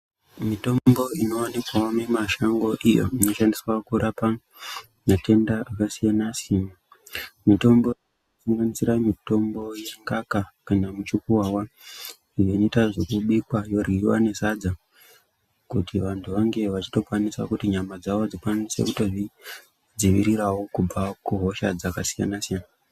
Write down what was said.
Mitombo inovanikwa mimashango iyo inoshandiswa kurapa matenda akasiyana-siyana. Mitombo inosanganisira mitombo yengaka kana muchukukuvava inoita zvekubikwa yoryiva nesadza. Kuti vantu vange vachikwanisa kuti nyama dzavo dzikwanise kutozvidziviriravo kubva kuhosha dzakasiyana-siyana.